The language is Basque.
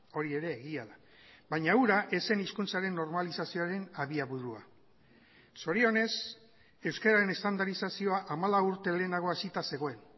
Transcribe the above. hori ere egia da baina hura ez zen hizkuntzaren normalizazioaren abiaburua zorionez euskararen estandarizazioa hamalau urte lehenago hasita zegoen